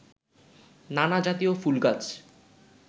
নানা জাতীয় ফুলগাছ